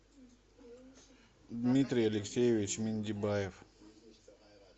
дмитрий алексеевич миндибаев